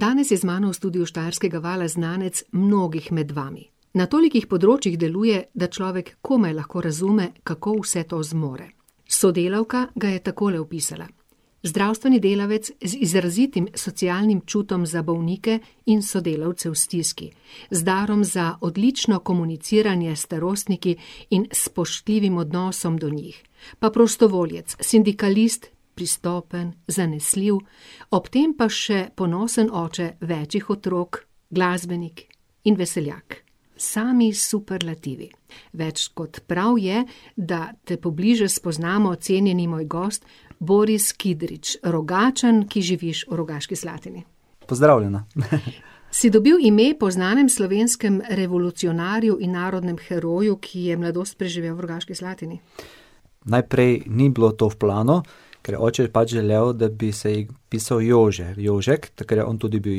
Danes je z mano v studiu Štajerskega vala znanec mnogih med vami. Na tolikih področjih deluje, da človek komaj lahko razume, kako vse to zmore. Sodelavka ga je takole opisala: zdravstveni delavec z izrazitim socialnim čutom za bolnike in sodelavce v stiski, z darom za odlično komuniciranje s starostniki in spoštljivim odnosom do njih. Pa prostovoljec, sindikalist, pristopen, zanesljiv, ob tem pa še ponosen oče več otrok, glasbenik in veseljak. Sami superlativi. Več kot prav je, da te pobliže spoznamo, cenjeni moj gost, Boris Kidrič, Rogačan, ki živiš v Rogaški Slatini. Pozdravljena . Si dobil ime po znanem slovenskem revolucionarju in narodnem heroju, ki je mladost preživel v Rogaški Slatini? Najprej ni bilo to v planu, ker oče je pač želel, da bi se pisal Jože, Jožek, ker je on tudi bil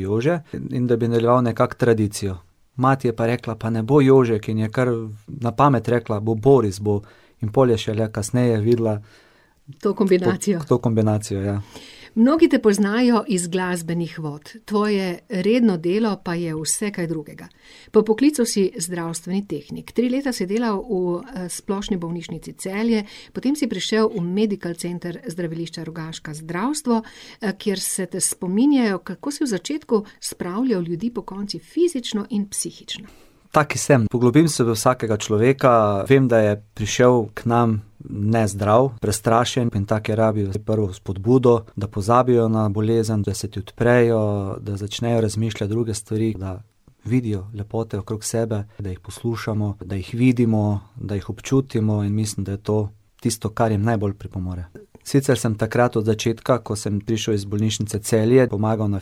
Jože in da bi nadaljeval nekako tradicijo. Mati je pa rekla: Pa ne bo Jožek in je kar na pamet rekla, bo Boris, bo. In pol je šele kasneje videla ... To kombinacijo. To kombinacijo, ja. Mnogi te poznajo iz glasbenih vod, tvoje redno delo pa je vsekaj drugega. Po poklicu si zdravstveni tehnik, tri leta si delal v, Splošni bolnišnici Celje, potem si prišel v Medical Center Zdravilišča Rogaška, zdravstvo, kjer se te spominjajo, kako si v začetku spravljal ljudi pokonci, fizično in psihično. Tak sem, poglobim se v vsakega človeka. Vem, da je prišel k nam nezdrav, prestrašen, je rabil ta prvo spodbudo, da pozabijo na bolezen, da se ti odprejo, da začnejo razmišljati druge stvari, da vidijo lepote okrog sebe, da jih poslušamo, da jih vidimo, da jih občutimo in mislim, da je to tisto, kar jim najbolj pripomore. Sicer sem takrat od začetka, ko sem prišel iz bolnišnice Celje, pomagal na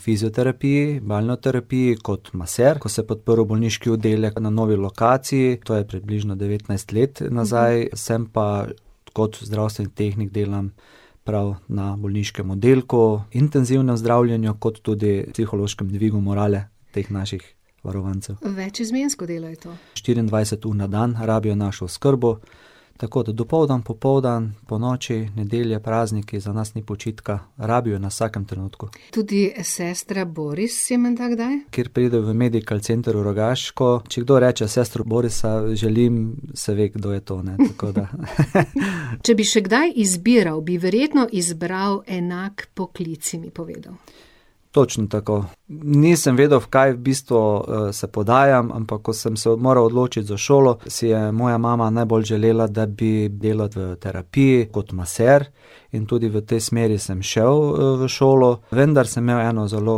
fizioterapiji, kot maser. Ko se je pa odprl bolniški oddelek na novi lokaciji, to je približno devetnajst let nazaj, sem pa, kot zdravstveni tehnik delam prav na bolniškem oddelku Intenzivno zdravljenje kot tudi psihološkem dvigu morale teh naših varovancev. Večizmensko delo je to. Štiriindvajset ur na dan rabijo našo oskrbo. Tako da dopoldne, popoldne, ponoči, nedelje, prazniki, za nas ni počitka, rabijo nas v vsakem trenutku. Tudi sestra Boris je menda kdaj? Ker pride v Medical Center Rogaško, če kdo reče: "Sestro Borisa želim," se ve, kdo je to, ne. Tako da . Če bi še kdaj izbiral, bi verjetno izbral enak poklic, si mi povedal. Točno tako. Nisem vedel, v kaj v bistvu, se podajam, ampak, ko sem se moral odločiti za šolo, si je moja najbolj želela, da bi delal v terapiji kot maser, in tudi v tej smeri sem šel v šolo, vendar sem imel eno zelo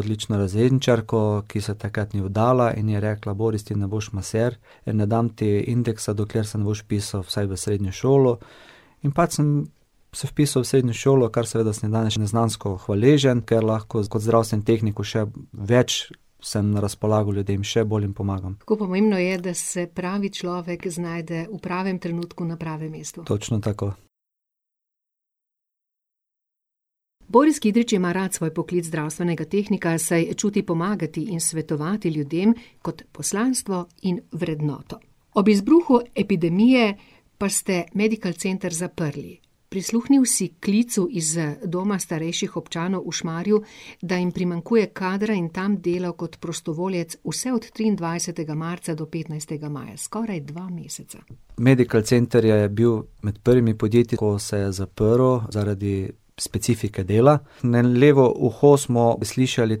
odlično razredničarko, ki se takrat ni vdala in je rekla: "Boris, ti ne boš maser." Ne dam ti indeksa, dokler se ne boš vpisal vsaj v srednjo šolo. In pač sem se vpisal v srednjo šolo, kar seveda sem danes še neznansko hvaležen, ker lahko kot zdravstveni tehnik še več samo na razpolago ljudem, še bolj jim pomagam. Kako pomembno je, da se pravi človek znajde v pravem trenutku na pravem mestu. Točno tako. Boris Kidrič ima rad svoj poklic zdravstvenega tehnika, saj čuti pomagati in svetovati ljudem kot poslanstvo in vrednoto. Ob izbruhu epidemije pa ste Medical Center zaprli. Prisluhnil si klicu iz, Doma starejših občanov v Šmarju, da jim primanjkuje kadra in tam delal kot prostovoljec vse od triindvajsetega marca do petnajstega maja, skoraj dva meseca. Medical Center je bil med prvimi podjetji, ko se zaprlo zaradi specifike dela. Na levo uho smo slišali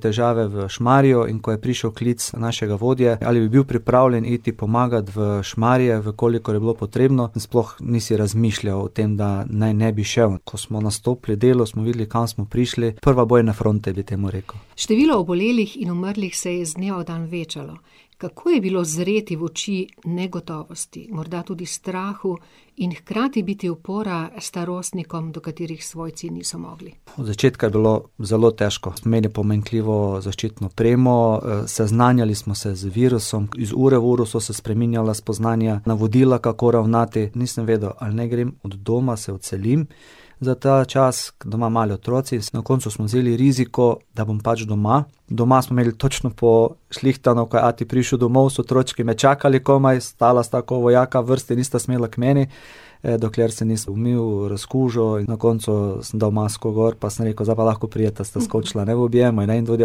težave v Šmarju, in ko je prišel klic našega vodje: "Ali bi bil pripravljen iti pomagat v Šmarje, v kolikor je bilo potrebno?" In sploh nisi razmišljal o tem, da naj ne bi šel. Ko smo nastopili delo, smo videli kam smo prišli, prva bojna fronta bi temu rekel. Število obolelih in umrlih se je iz dneva v dan večalo. Kako je bilo zreti v oči negotovosti, morda tudi strahu in hkrati biti opora starostnikom, do katerih svojci niso mogli? Od začetka je bilo zelo težko. Imeli pomanjkljivo zaščitno opremo, seznanjali smo se z virusom, iz ure v uro so se spreminjala spoznanja, navodila, kako ravnati, nisem vedel, naj grem od doma, se odselim za ta čas, doma mali otroci. Na koncu smo vzeli riziko, da bom pač doma. Doma smo imeli točno pošlihtano, ko je ati prišel domov, so otročki me čakali komaj, stala sta ko vojaka v vrsti, nista smela k meni, dokler se nisem umil, razkužil, in na koncu sem dal masko gor pa sem rekel: "Zdaj pa lahko prideta," Sta skočila, ne, v objem, a ne. In tudi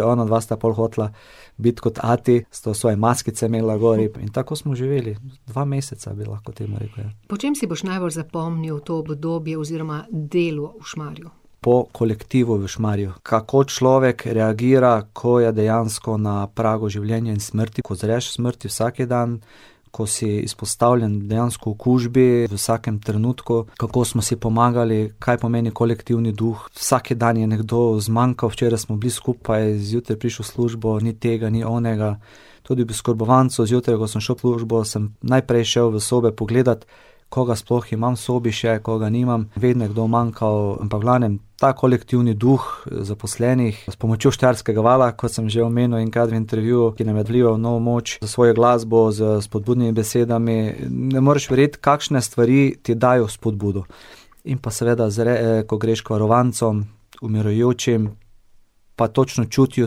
onadva sta pol hotela biti kot ati, sta svoje maskice imela gor in tako smo živeli, dva meseca bi lahko temu rekel, ja. Po čem si boš najbolj zapomnil to obdobje oziroma delo v Šmarju? Po kolektivu v Šmarju. Kako človek reagira, ko je dejansko na pragu življenja in smrti, ko zreš smrti vsak dan, ko si izpostavljen dejansko okužbi v vsakem trenutku, kako smo si pomagali, kaj pomeni kolektivni duh, vsak dan je nekdo zmanjkal. Včeraj smo bili skupaj, zjutraj prideš v službo, ni tega, ni onega. pri oskrbovancu, zjutraj, ko sem šel v službo, sem najprej šel v sobe pogledat, koga sploh imam v sobi še, koga nimam, vedno je kdo manjkal, ampak v glavnem, ta kolektivni duh zaposlenih, s pomočjo Štajerskega vala, kot sem že omenil enkrat v intervjuju, ki nam je vlival novo moč s svojo glasbo, s spodbudnimi besedami, ne moreš verjeti, kakšne stvari ti dajo spodbudo. In pa seveda ko greš k varovancem, umirajočim, pa točno čutijo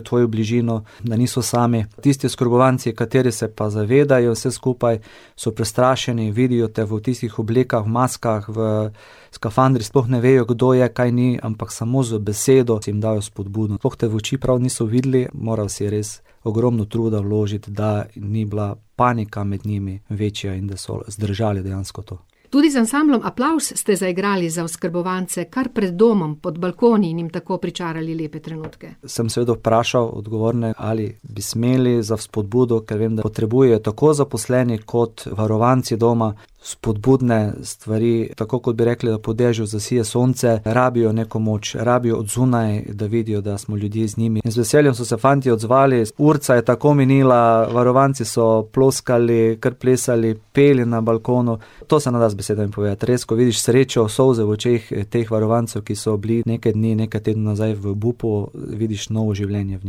tvojo bližino, da niso sami. Tisti oskrbovanci, kateri se pa zavedajo vse skupaj, so prestrašeni, vidijo te v tistih oblekah, v maskah, v skafandrih, sploh ne vejo, kdo je, kaj ni, ampak samo z besedo si jim dal spodbudo, sploh te v oči prav niso videli, moral si res ogromno truda vložiti, da ni bila panika med njimi večja in da so zdržali dejansko to. Tudi z ansamblom Aplavz ste zaigrali za oskrbovance kar pred domom, pod balkoni in jim tako pričarali lepe trenutke. Sem seveda vprašal odgovorne, ali bi smeli za spodbudo, ker vem, da jo potrebujejo tako zaposleni kot varovanci doma, spodbudne stvari. Tako, kot bi rekli po dežju posije sonce, rabijo neko moč, rabijo od zunaj, da vidijo, da smo ljudje z njimi. In z veseljem so se fantje odzvali, urica je tako minila, varovanci so ploskali, kar plesali, peli na balkonu. To se ne da z besedami povedati, res, ko vidiš srečo, solze v očeh teh varovancev, ki so bili nekaj dni, nekaj tednov nazaj v obupu, vidiš novo življenje v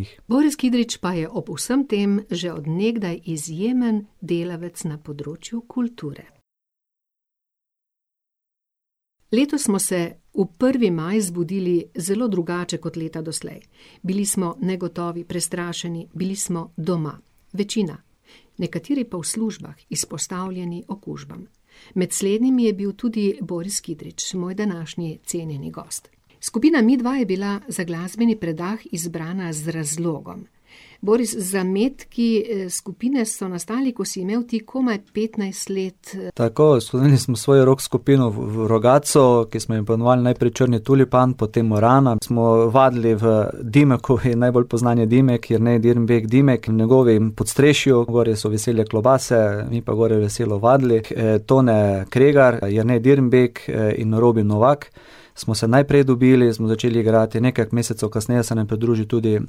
njih. Boris Kidrič pa je ob vsem tem že od nekdaj izjemen delavec na področju kulture. Letos smo se v prvi maj zbudili zelo drugače kot leta doslej. Bili smo negotovi, prestrašeni, bili smo doma, večina. Nekateri pa v službah, izpostavljeni okužbam. Med slednjimi je bil tudi Boris Kidrič, moj današnji cenjeni gost. Skupina Midva je bila za glasbenih predah izbrana z razlogom. Boris, zametki skupine so nastali, ko si imel ti komaj petnajst let. Tako, svojo rock skupino v Rogatcu, ki smo jo poimenovali najprej Črni tulipan, potem Morana. Smo vadili v Dimeku, je najbolj poznan Jedimek, Jernej Dirnbek Dimek, na njegovem podstrešju. Gori so visele klobase, mi pa gor veselo vadili. Tone Kregar, Jernej Dirnbek in Robi Novak smo se najprej dobili, smo začeli igrati, nekaj mesecev kasneje se nam je pridružil tudi,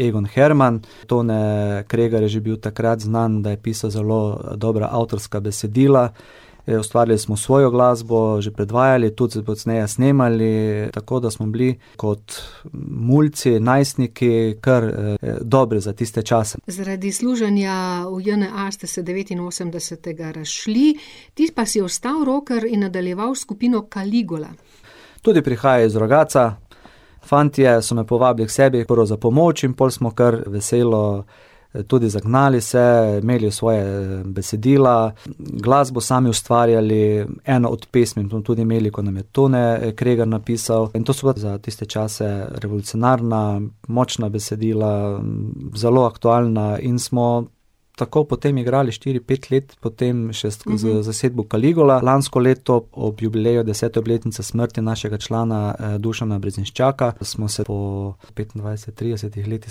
Egon Herman. Tone Kregar je že bil takrat znan, da je pisal zelo dobra avtorska besedila, ustvarili smo svojo glasbo, že predvajali, tudi pozneje snemali. Tako da smo bili kot mulci, najstniki, kar, dobri za tiste čase. Zaradi služenja v NJA, ste se devetinosemdesetega razšli, ti pa si ostal rocker in nadaljevali s skupino Caligula. Tudi prihaja iz Rogatca. Fantje so me povabili k sebi, prvo za pomoč in pol smo kar veselo tudi zagnali se, imeli svoje besedila, glasbo sami ustvarjali, eno od pesmi smo tudi imeli, ko nam Tone, Kregar napisal in to so bila za tiste čase revolucionarna, močna besedila, zelo aktualna in smo tako potem igrali štiri, pet let, potem še z zasedbo Caligula. Lansko leto ob jubileju desete obletnice smrti našega člana, [ime in priimek] , smo se po petindvajset, tridesetih letih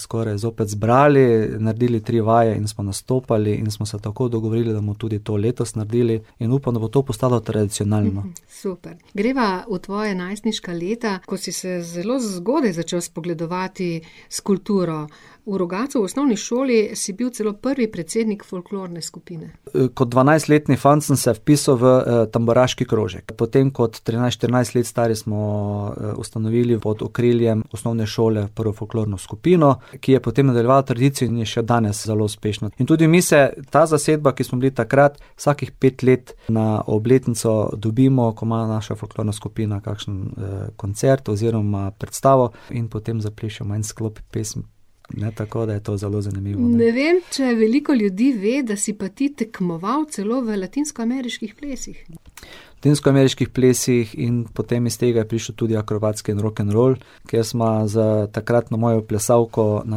skoraj zbrali, naredili tri vaje in smo nastopali in smo se tako dogovorili, da bomo tudi to letos naredili in upam, da bo to postalo tradicionalno. Super. Greva v tvoja najstniška leta, ko si se zelo zgodaj začel spogledovati s kulturo. V Rogatcu v osnovni šoli si bil celo prvi predsednik folklorne skupine. kot dvanajstletni fant sem se vpisal v, tamburaški krožek. Potem kot trinajst, štirinajst let stari smo, ustanovili pod okriljem osnovne šole prvo folklorno skupino, ki je potem nadaljevala tradicijo in je še danes zelo uspešno. In tudi mi se, ta zasedba, ko smo bili takrat, vsakih pet let na obletnico dobimo, ko ima naša folklorna skupina kakšen, koncert, oziroma predstavo, in potem zaplešemo en sklop pesmi, ne, tako, da je to zelo zanimivo. Ne vem, če veliko ljudi ve, da si pa ti tekmoval celo v latinskoameriških plesih. V latinskoameriških plesih in potem iz tega je prišel tudi akrobatski in rokenrol, kjer sva z takratno mojo plesalko [ime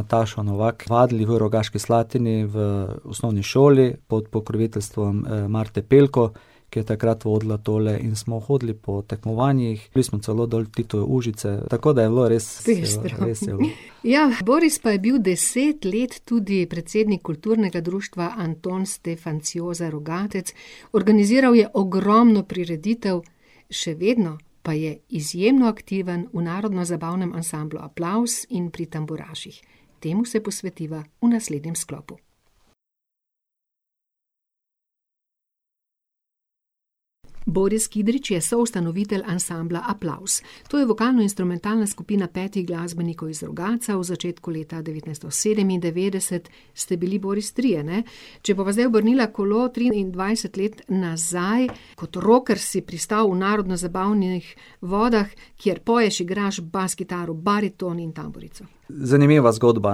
in priimek] vadili v Rogaški Slatini v osnovni šoli, pod pokroviteljstvom, [ime in priimek] , ki je takrat vodila tole in smo hodili po tekmovanjih, bili smo celo dol v , tako da je bilo res ... Pestro. Res je bilo. Ja, Boris pa je bil deset let tudi predsednik Kulturnega društva Anton Stefanciosa Rogatec, organizirali je ogromno prireditev, še vedno pa je izjemno aktiven v narodnozabavnem ansamblu Aplavz in pri tamburaših. Temu se posvetiva v naslednjem sklopu. Boris Kidrič je soustanovitelj ansambla Aplavz. To je vokalno-instrumentalna skupina petih glasbenikov iz Rogatca, v začetku leta devetnajststo sedemindevetdeset ste bili, Boris, trije, ne? Če bova zdaj obrnila kolo triindvajset let nazaj, kot rocker si pristal v narodnozabavnih vodah, kjer poješ, igraš bas kitaro, bariton in tamburico. Zanimiva zgodba.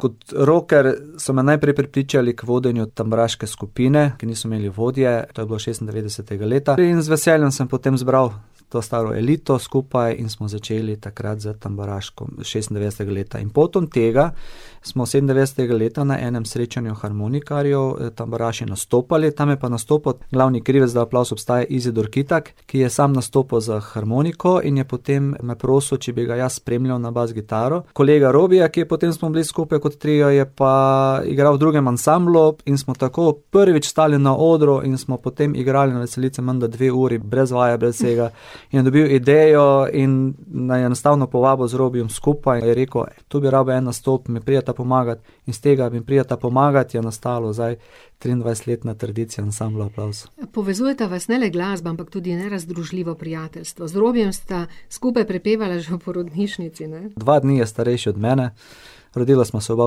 Kot rocker so me najprej prepričali k vodenju tamburaške skupine, ki niso imeli vodje, to je bilo šestindevetdesetega leta in z veseljem sem potem zbral to staro elito skupaj in smo začeli takrat s tamburaško šestindevetdesetega leta in potom tega smo sedemindevetdesetega leta na enem srečanju harmonikarjev, tamburaši nastopali, tam je pa nastopal glavni krivec, da Aplavz obstaja, Izidor Kitak, ki je samo nastopal z harmoniko in je potem me prosil, če bi ga jaz spremljal na bas kitaro, kolega Robija, ki je potem smo bili skupaj, kot trio je pa igral v drugem ansamblu in smo tako prvič stali na odru in smo potem igrali na veselici menda dve uri, brez vaje, brez vsega. In dobili idejo in naju je enostavno povabil z Robijem skupaj, je rekel: "Tu bi rabil en nastop, mi prideta pomagat?" In s tega "Mi prideta pomagat?", je nastala zdaj triindvajsetletna tradicija ansambla Aplavz. Povezujeta vas ne le glasba, ampak tudi nerazdružljivo prijateljstvo. Z Robijem sta skupaj prepevala že v porodnišnici, ne? Dva dni je starejši od mene. Rodila sva se oba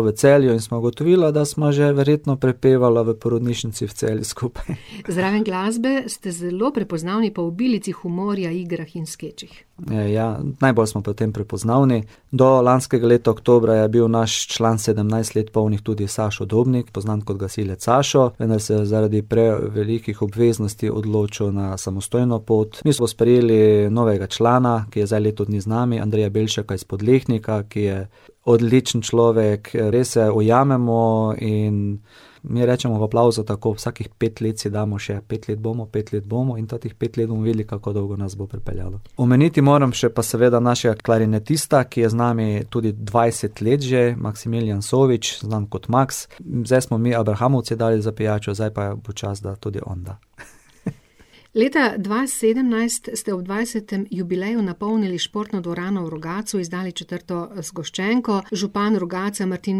v Celju in sva ugotovila, da sva že verjetno prepevala v porodnišnici v Celju skupaj . Zraven glasbe ste zelo prepoznavni po obilici humorja, igrah in skečih. Ja, najbolj smo po tem prepoznavni. Do lanskega leta oktobra je bil naš član sedemnajst let polnih tudi Sašo Dobnik, poznan kot Gasilec Sašo. Vendar se je zaradi prevelikih obveznosti odločil na samostojno pot. Mi smo sprejeli novega člana, ki je zdaj leto dni z nami, [ime in priimek] iz Podlehnika, ki je odličen človek, res se ujamemo in mi rečemo v Aplavzu tako, vsakih pet let si damo še pet let, bomo, pet let bomo, in teh pet let bomo videli, kako dolgo nas bo pripeljalo. Omeniti moram še pa seveda našega klarinetista, ki je z nami tudi dvajset let že, [ime in priimek] , znan kot Maks. Zdaj smo mi abrahamovci dali za pijačo, zdaj pa je počasi, da tudi on da . Leta dva sedemnajst ste ob dvajsetem jubileju napolnili športno dvorano v Rogatcu in izdali četrto zgoščenko. Župan Rogatca, Martin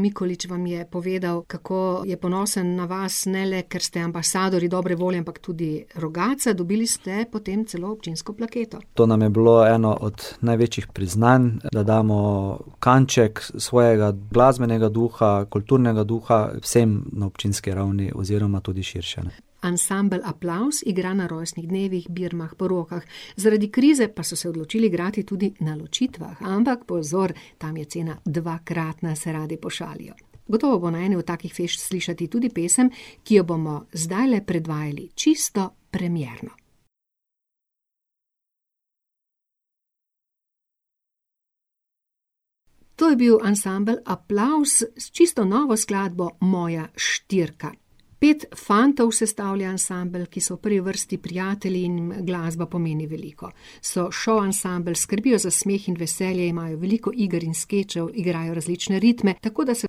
Mikolič, vam je povedal, kako je ponosen na vas, ne le ker ste ambasadorji dobre volje, ampak tudi Rogatca. Dobili ste potem celo občinsko plaketo. To nam je bilo eno od največjih priznanj, da damo kanček svojega glasbenega duha, kulturnega duha vsem na občinski ravni oziroma tudi širše, ne. Ansambel Aplavz igra na rojstnih dnevih, birmah, porokah, zaradi krize pa so se odločili igrati tudi na ločitvah, ampak pozor, tam je cena dvakratna, se radi pošalijo. Gotovo bo na eni od takih fešt slišati tudi pesem, ki jo bomo zdajle predvajali čisto premierno. To je bil ansambel Aplavz s čisto novo skladbo Moja štirka. Pet fantov sestavlja ansambel, ki so v prvi vrsti prijatelji in jim glasba pomeni veliko. So šov ansambel, skrbijo za smeh in veselje, imajo veliko iger in skečev, igrajo različne ritme, tako da se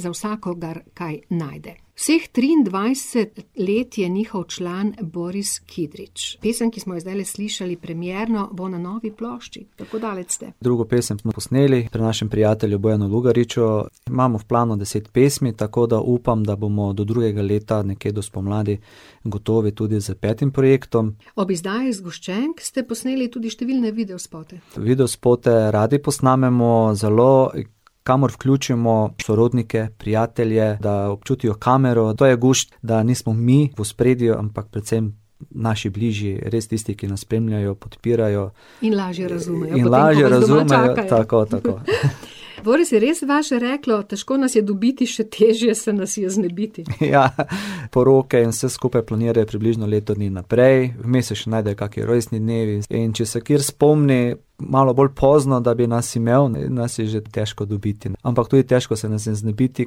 za vsakogar kaj najde. Vseh triindvajset let je njihov član Boris Kidrič. Pesem, ki smo jo zdajle slišali premierno, bo na novi plošči. Kako daleč ste? Drugo pesem smo posneli pri našem prijatelju [ime in priimek] . Imamo v planu deset pesmi, tako da upam, da bomo do drugega leta, nekje do spomladi gotovi tudi s petim projektom. Ob izdaji zgoščenk ste posneli tudi številne videospote. Videospote radi posnamemo, zelo, kamor vključimo sorodnike, prijatelje, da občutijo kamero, to je gušt, da nismo v ospredju, ampak predvsem naši bližje, res tisti, ki nas spremljajo, podpirajo. In lažje razumejo potem, ko vas doma čakajo. in lažje razumejo, tako, tako. Boris, je res vaše reklo: Težko nas je dobiti, še težje se nas je znebiti? Ja, , poroke in vse skupaj planirajo približno leto dni naprej, vmes se še najdejo kaki rojstni dnevi, in če se kateri spomni malo bolj pozno, da bi nas imel, nas je že težko dobiti. Ampak tudi težko se nas je znebiti,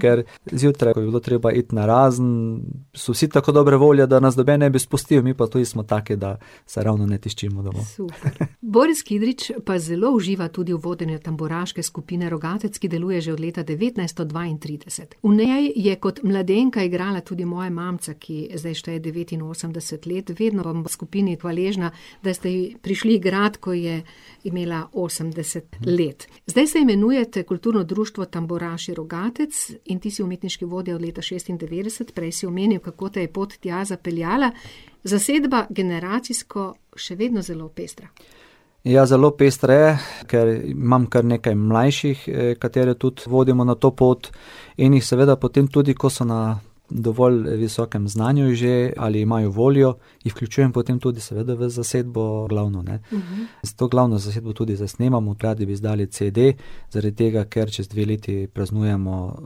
ker zjutraj, ko bi bilo treba iti narazen, so vsi tako dobre volje, da nas noben ne bi spustil, mi pa tudi smo taki, da se ravno ne tiščimo doma. Super. Boris Kidrič pa zelo uživa tudi v vodenju Tamburaške skupine Rogatec, ki deluje že od leta devetnajststo dvaintrideset. V njej je kot mladenka igrala tudi moja mamica, ki zdaj šteje devetinosemdeset let. Vedno bom skupini hvaležna, da ste ji prišli igrat, ko je imela osemdeset let. Zdaj se imenujete Kulturno društvo Tamburaši Rogatec in ti si umetniški vodja od leta šestindevetdeset, prej si omenil, kako te je pot tja zapeljala. Zasedba generacijsko še vedno zelo pestra. Ja, zelo pestra je, ker imam kar nekaj mlajših, katere tudi vodimo na to pot in jih seveda potem tudi, ko so na dovolj visokem znanju že ali imajo voljo, jih vključujem potem tudi seveda v zasedbo glavno, ne. S to glavno zasedbo tudi zdaj snemamo, radi bi izdali cede, zaradi tega, ker čez dve leti praznujemo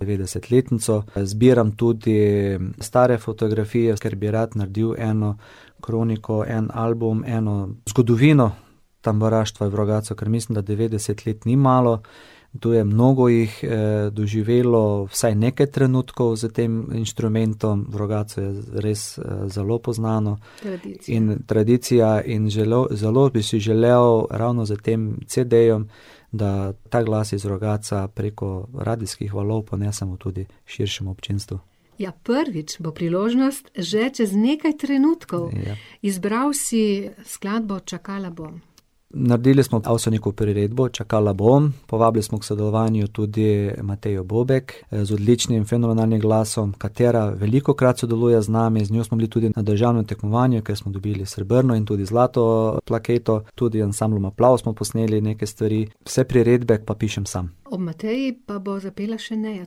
devetdesetletnico. Zbiram tudi stare fotografije, ker bi rad naredili eno kroniko, en album, eno zgodovino tamburaštva v Rogatcu, ker mislim, da devetdeset let ni malo. Tu je mnogo jih, doživelo vsaj nekaj trenutkov s tem inštrumentom, v Rogatcu je res, zelo poznano, in tradicija in zelo, zelo bi si želeli, ravno z tem cedejem, da ta glas iz Rogatca preko radijskih valov ponesemo tudi širšemu občinstvu. Ja, prvič bo priložnost že čez nekaj trenutkov. Izbral si skladbo Čakala bom. Naredili smo Avsenikovo priredbo Čakala bom, povabili smo k sodelovanju tudi Matejo Bobek z odličnim, fenomenalnim glasom, katera velikokrat sodeluje z nami, z njo smo bili tudi na državnem tekmovanju, ko smo dobili srebrno in tudi zlato, plaketo. Tudi z ansamblom Aplavz smo posneli nekaj stvari, vse priredbe pa pišem sam. Ob Mateji pa bo zapela še [ime in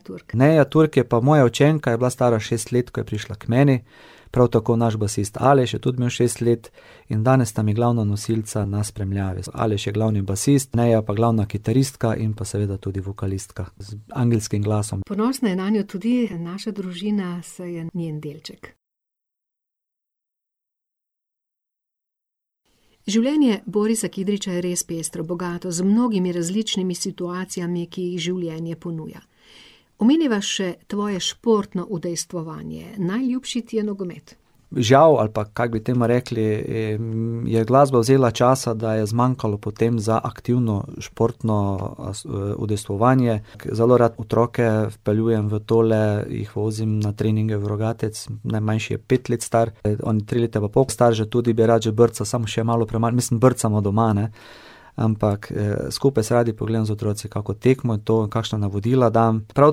priimek] . [ime in priimek] je pa moja učenka, je bila stara šest let, ko je prišla k meni, prav tako naš basist Aleš, je tudi imel šest let, in danes sta mi glavna nosilca na spremljavi. Aleš je glavni basist, Neja pa glavna kitaristka in pa seveda tudi vokalistka z angelskim glasom. Ponosna je nanjo tudi naša družina, saj je njen delček. Življenje Borisa Kidriča je res pestro, bogato z mnogimi različnimi situacijami, ki jih življenje ponuja. Omeniva še tvoje športno udejstvovanje, najljubši ti je nogomet. Žal, ali pa kako bi temu rekli, je glasba vzela časa, da je zmanjkalo potem za aktivno športno, udejstvovanje. Zelo rad otroke vpeljujem v tole, jih vozim na treninge v Rogatec, najmanjši je pet let star, on tri leta pa pol star že tudi bi rad že brcal, samo še malo premalo, mislim brcamo doma, ne. Ampak, skupaj se radi pogledam z otroci kako tekmo, to kakšna navodila dam. Prav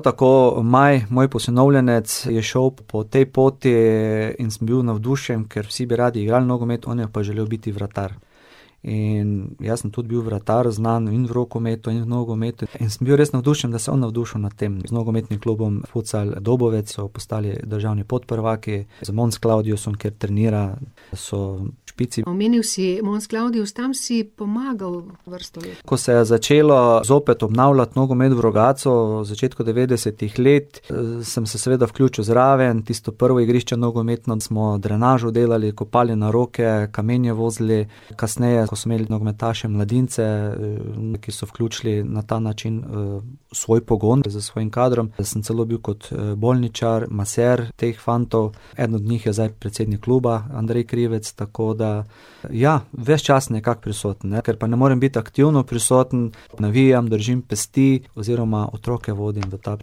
tako Maj, moj posinovljenec, je šel po tej poti in sem bil navdušen, ker vsi bi radi igrali nogomet, on je pa želel biti vratar. In jaz sem tudi bil vratar, znan in v rokometu in v nogometu in sem bil res navdušen, da se je on navdušil nad tem. Z nogometnim klubom Futsal Dobovec so postali državni podprvaki, z Mons Claudiusom, kjer trenira, so v špici. Omenil si Mons Claudius, tam si pomagal vrsto let. Ko se je začelo zopet obnavljati nogomet v Rogatcu v začetku devetdesetih let, sem se seveda vključil zraven. Tisto prvo igrišče nogometno smo drenažo delali, kopali na roke, kamenje vozili. Kasneje, ko so imeli nogometaše mladince, neke so vključili na ta način, svoj pogon s svojim kadrom. Jaz sem celo bil kot bolničar, maser teh fantov. Eden od njih je zdaj predsednik kluba, [ime in priimek] , tako da, ja ... Ves čas nekako prisoten, ne, ker pa ne morem biti aktivno prisoten, navijam, držim pesti, oziroma otroke vodim v ta